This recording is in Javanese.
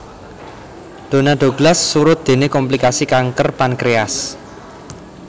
Donna Douglas surut déné komplikasi kanker pankréas